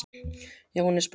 Jóhannes: Brá ykkur?